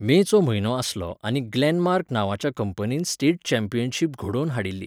मेचो म्हयनो आसलो आनी ग्लेनमार्क नांवाच्या कंपनीन स्टेट चँपीयनशीप घडोवन हाडिल्ली.